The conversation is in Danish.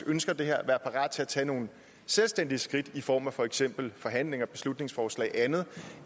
ønsker det her være parat til at tage nogle selvstændige skridt i form af for eksempel forhandlinger beslutningsforslag og andet